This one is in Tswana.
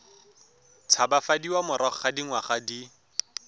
tshabafadiwa morago ga dingwaga di